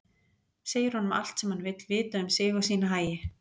Segir honum allt sem hann vill vita um sig og sína hagi.